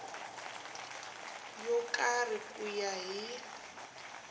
yo karhi ku ya hi